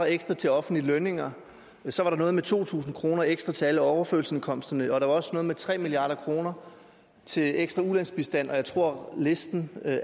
ekstra til offentlige lønninger så var der noget med to tusind kroner ekstra til alle overførselsindkomsterne og der var også noget med tre milliard kroner til ekstra ulandsbistand og jeg tror at listen af